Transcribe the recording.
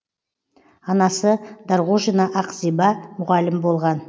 анасы дарғожина ақзиба мұғалім болған